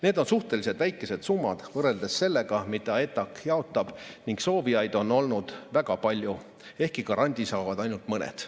Need on suhteliselt väikesed summad võrreldes sellega, mida ETAg jaotab, ning soovijaid on olnud väga palju, ehkki grandi saavad ainult mõned.